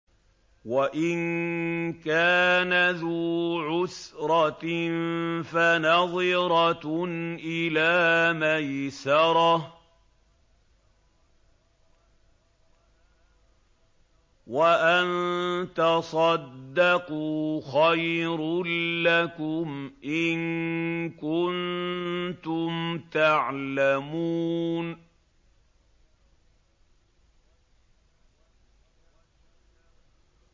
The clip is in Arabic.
وَإِن كَانَ ذُو عُسْرَةٍ فَنَظِرَةٌ إِلَىٰ مَيْسَرَةٍ ۚ وَأَن تَصَدَّقُوا خَيْرٌ لَّكُمْ ۖ إِن كُنتُمْ تَعْلَمُونَ